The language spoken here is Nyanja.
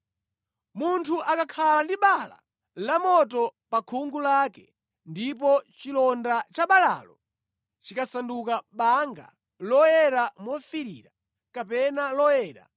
“Munthu akakhala ndi bala lamoto pa khungu lake, ndipo chilonda cha balalo chikasanduka banga loyera mofiirira kapena loyera,